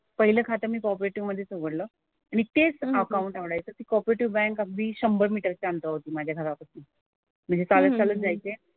पहिलं खातं मी कॉपरेटिव्ह मधेच उघडलं. आणि तेच अकाउंट आवडायचं. ती कॉपरेटिव्ह बँक अगदी शंभर मीटरच्या अंतरावरती होती माझ्या घरापासून. म्हणजे चालत चालत जायचे.